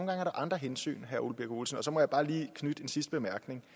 andre hensyn herre ole birk olesen så må jeg bare lige knytte en sidste bemærkning